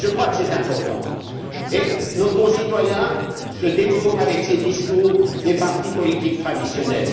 Je crois que c'est important. Nos concitoyens se détournent, avec ces discours, des partis politiques traditionnels.